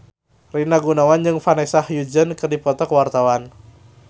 Rina Gunawan jeung Vanessa Hudgens keur dipoto ku wartawan